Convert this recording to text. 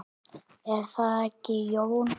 Er það ekki, Jón?